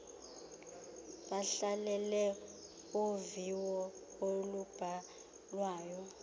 bahlalele uviwo olubhalwayo